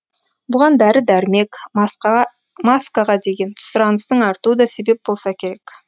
бұған дәрі дәрмек маскаға деген сұраныстың артуы да себеп болса керек